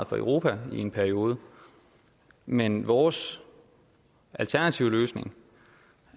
for europa i en periode men vores alternative løsning